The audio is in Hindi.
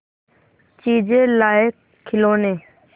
चीजें लाएँगेखिलौने